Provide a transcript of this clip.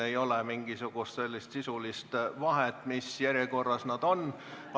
Ei ole mingisugust sisulist vahet, mis järjekorras need on.